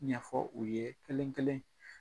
Ɲɛfɔ u ye kelen kelen.